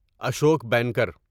Ashok banker